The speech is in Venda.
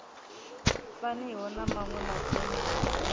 faniho na maṅwe madzina a